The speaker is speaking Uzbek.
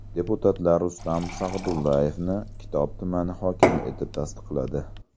Deputatlar Rustam Sagdullayevni Kitob tumani hokimi etib tasdiqladi.